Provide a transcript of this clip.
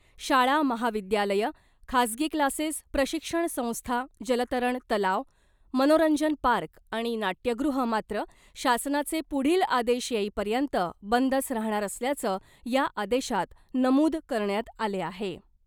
शाळा , महाविद्यालयं , खासगी क्लासेस , प्रशिक्षण संस्था , जलतरण तलाव , मनोरंजन पार्क आणि नाट्यगृहं मात्र शासनाचे पुढील आदेश येईपर्यंत बंदच राहणार असल्याचं या आदेशात नमुद करण्यात आले आहे .